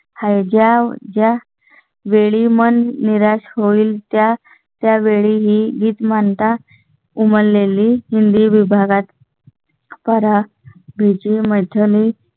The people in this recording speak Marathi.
आहे ज्या ज्या वेळी मन निराश होईल त्या त्या वेळीही गीत म्हणतात. उमल लेली हिंदी विभागात. करा विजय